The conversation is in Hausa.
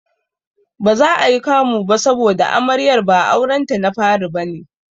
Baza ayi kamu ba saboda Amaryar ba aurenta na fari bane.